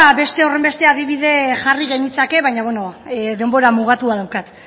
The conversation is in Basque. beste horrenbeste adibide jarri genitzake baina denbora mugatua daukat